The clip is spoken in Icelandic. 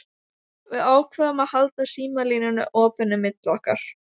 Við ákváðum að halda símalínunni opinni milli okkar.